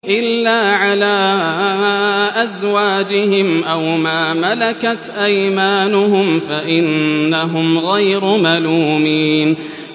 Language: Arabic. إِلَّا عَلَىٰ أَزْوَاجِهِمْ أَوْ مَا مَلَكَتْ أَيْمَانُهُمْ فَإِنَّهُمْ غَيْرُ مَلُومِينَ